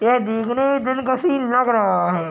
यह देखने में दिन का सिन लग रहा है |